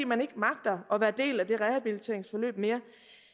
man ikke magter at være del af det rehabiliteringsforløb mere